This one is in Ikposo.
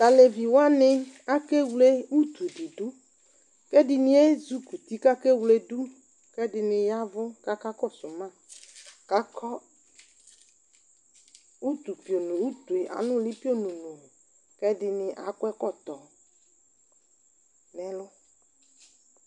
T'aleviwani akewle utu di ɖʋ, k'ɛdini ezik'uti k'akewledu, k'ɛdini yavʋ k'aka kɔsʋ ma, k'akɔ utu piono, utu anʋli pio nonooo, k'ɛdini ak'ɛkɔtɔ n'lɛlʋ